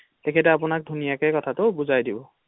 তেখেতে আপোনাক ধুনীয়া কথাটো বুজাই দিব৷